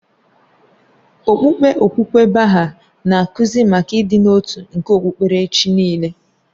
Okpukpe okwukwe Baha'i na-akụzi maka ịdị n'otu nke okpukpere chi niile